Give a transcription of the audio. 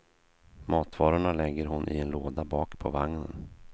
Matvarorna lägger hon i en låda bak på vagnen.